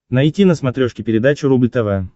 найти на смотрешке передачу рубль тв